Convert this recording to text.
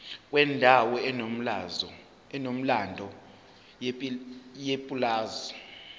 kwendawo enomlando yepulazi